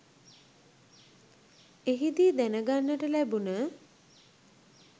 එහිදී දැනගන්නට ලැබුණ